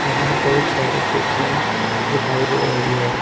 यहां बहुत सारी कुर्सियां दिखाई दे रही है।